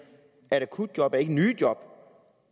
at akutjob ikke er nye job